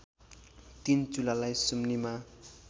तीन चुलालाई सुम्निमा